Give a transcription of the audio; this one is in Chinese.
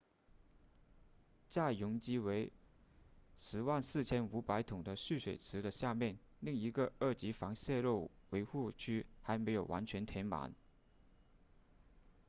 在容积为 104,500 桶的蓄水池的下面另一个二级防泄漏围护区还没有完全填满